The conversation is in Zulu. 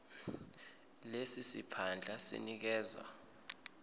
lesi siphandla sinikezwa